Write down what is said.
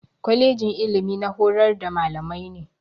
Kwalejin ilimi na horar da mallamai ne.